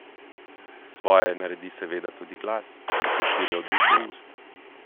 Svoje naredi seveda tudi glas, ki se širi od ust do ust.